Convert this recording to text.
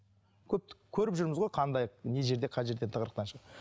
көріп жүрміз ғой қандай не жерде қай жерде тығырықтан